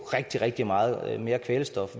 rigtig rigtig meget mere kvælstof